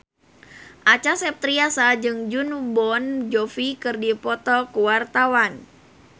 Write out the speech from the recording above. Acha Septriasa jeung Jon Bon Jovi keur dipoto ku wartawan